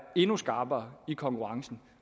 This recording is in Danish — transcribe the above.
endnu skarpere i konkurrencen